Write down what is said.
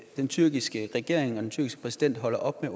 den tyrkiske regering og den tyrkiske præsident holder op med